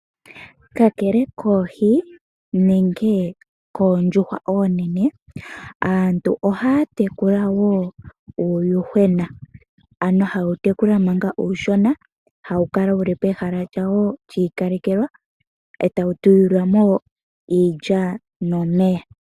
Kakele koohi nenge koondjuhwa oonene aantu ohaya tekula wo uuyuhwena. Ano haye wu tekula manga uushona, hawu kala wuli pehala lyawo lyi ikalelelwa etawu tulilwa mo iilya nomeya.